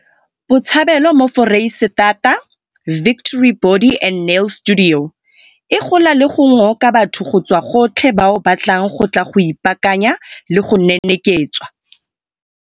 Botshabelo mo Foreisetata, Victory Body and Nail Studio, e gola le go ngoka batho go tswa gotlhe bao ba tlang go tla go ipaakanya le go neneketswa.